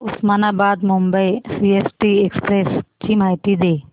Osmanabad Mumbai CST express ची माहिती दे